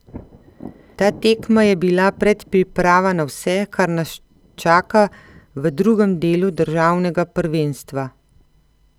Ta tekma je bila predpriprava na vse, kar nas čaka v drugem delu državnega prvenstva.